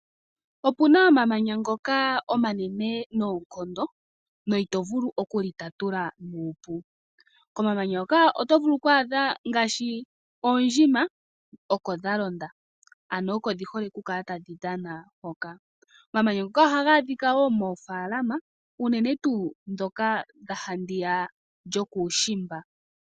Opuna omamanya ngoka omanene noonkondo no itovulu okulitatula nuupu. Komamanya hoka oto vulu okwaadha ngaashi oondjima oko dha londa ano oko dhi hole okukala tadhi dhana hoka. Omamanya ngoka ohaga adhika wo moofaalama unene tuu ndhoka dha handiya yokuushimba.